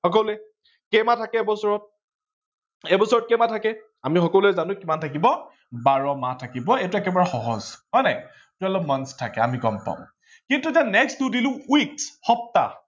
কেই মাহ থাকে বছৰত, এবছৰত কেই মাহ থাকে আমি সকলোৱে জানো কিমান মাহ থাকিব বাৰ মাহ থাকিব এইটো একেবাৰে সহজ হৈনে twelve months থাকে আমি গম পাও। কিন্তু এতিয়া next টো দিলো week সপ্তাহ